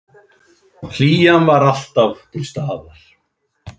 Hlýjan var alltaf til staðar.